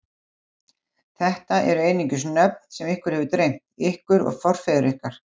Þetta eru einungis nöfn sem ykkur hefur dreymt, ykkur og forfeður ykkar.